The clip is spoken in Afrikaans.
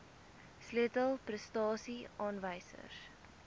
sleutel prestasie aanwysers